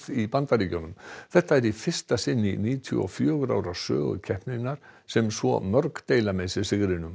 í Bandaríkjunum þetta er í fyrsta sinn í níutíu og fjögur ára sögu keppninar sem svo mörg deila með sér sigrinum